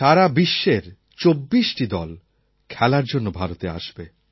সারা বিশ্বের ২৪টি দল খেলার জন্য ভারতে আসবে